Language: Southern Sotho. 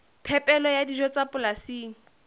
phepelo ya dijo tsa polasing